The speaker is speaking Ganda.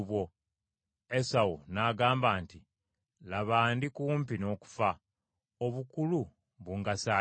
Esawu n’agamba nti, “Laba Ndikumpi n’okufa, obukulu bungasa ki?”